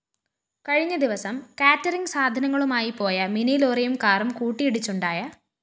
കഴിഞ്ഞദിവസം കേറ്ററിങ്‌ സാധനങ്ങളുമായി പോയ മിനിലോറിയും കാറും കൂട്ടിയിടിച്ചുണ്ടായ